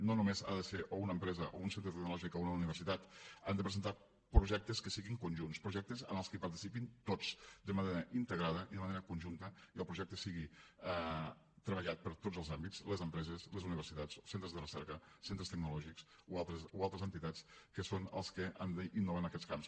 no només ha de ser o una empresa o un centre tecnològic o una universitat han de presentar projectes que siguin conjunts projectes en els que hi participin tots de manera integrada i de manera conjunta i que el projecte sigui treballat per tots els àmbits les empreses les universitats centres de recerca centres tecnològics o altres entitats que són els que han d’innovar en aquests camps